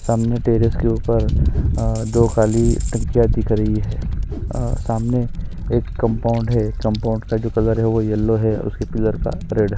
सामने टेरेस के ऊपर अ दो काली टंकियाँ दिख रही है अ सामने एक कंपाउंड है कंपाउंड का जो कलर है वह यल्लो है उसके पिलर का रेड --